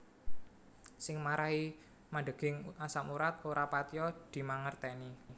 Sing marahi mandheging asam urat ora patiya dimangerteni